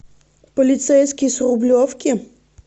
полицейский с рублевки